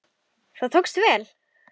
Það tókst vel.